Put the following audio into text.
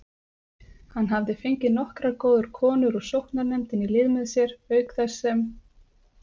Hann hafði fengið nokkrar góðar konur úr sóknarnefndinni í lið með sér, auk þess sem